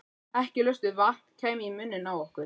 Ekki laust við að vatn kæmi í munninn á okkur.